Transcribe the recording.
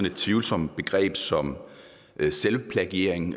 et tvivlsomt begreb som selvplagiering